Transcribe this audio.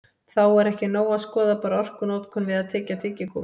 Þó er ekki nóg að skoða bara orkunotkun við að tyggja tyggigúmmí.